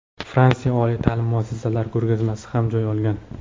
Fransiya oliy ta’lim muassasalari ko‘rgazmasi ham joy olgan.